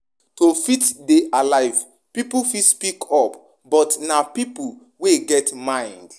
To fit dey alive pipo fit speak up but na pipo wey get mind